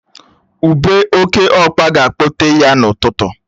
Ubé oke ọkpa ga-akpọ tee ya n'ụtụtụ